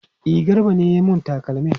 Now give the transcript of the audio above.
E, Garba ne ya yi mun takalmin.